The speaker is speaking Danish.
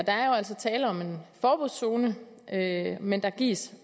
der er jo altså tale om en forbudszone men der gives